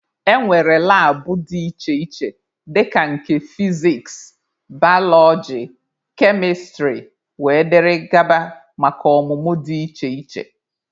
E nwere labụ dị iche iche dika nke fiziks, balọọji, kemịstrị wdg maka ọmụmụ dị iche iche.